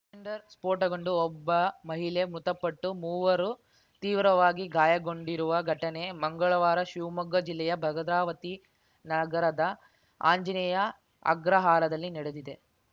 cylinder ಸ್ಫೋಟಗೊಂಡು ಒಬ್ಬ ಮಹಿಳೆ ಮೃತಪಟ್ಟು ಮೂವರು ತೀವ್ರವಾಗಿ ಗಾಯಗೊಂಡಿರುವ ಘಟನೆ ಮಂಗಳವಾರ ಶಿವಮೊಗ್ಗ ಜಿಲ್ಲೆಯ ಭದ್ರವತಿ ನಗರದ ಆಂಜನೇಯ ಆಗ್ರಹಾರದಲ್ಲಿ ನಡೆದಿದೆ